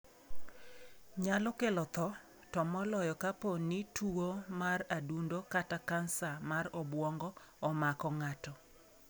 Nyalo kelo tho, to moloyo kapo ni tuwo mar adundo kata kansa mar obwongo omako ng'ato.